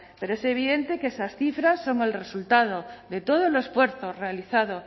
pero es evidente que esas cifras son el resultado de todo el esfuerzo realizado